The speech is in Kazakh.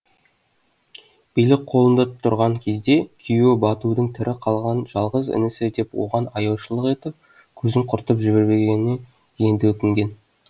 билік қолында тұрған кезде күйеуі батудың тірі қалған жалғыз інісі деп оған аяушылық етіп көзін құртып жібермегеніне енді өкінген